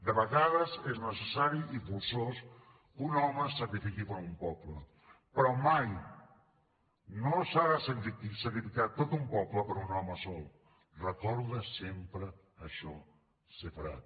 de vegades és necessari i forçós que un home es sacrifiqui per un poble però mai no s’ha de sacrificar tot un poble per un home sol recorda sempre això sepharad